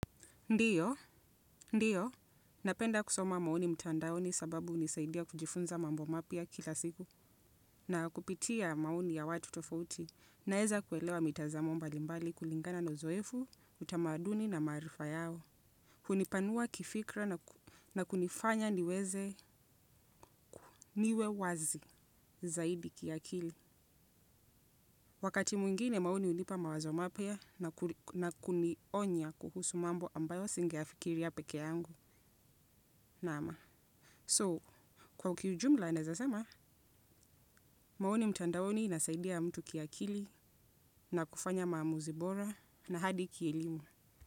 Ndiyo, napenda kusoma maoni mtandaoni sababu hunisaidia kujifunza mambo mapya kila siku. Na kupitia maoni ya watu tofauti naweza kuelewa mitazamo mbalimbali kulingana na uzoefu, utamaduni na maarifa yangu. Hunipanua ki fikra na kunifanya niweze niwe wazi zaidi ki akili. Wakati mwingine maoni hunipa mawazo mapya na kunionya kuhusu mambo ambayo singeyafikiria peke yangu So, kwa kijumla naweza sema, maoni mtandaoni inasaidia mtu ki akili na kufanya maamuzi bora na hadi kielimu.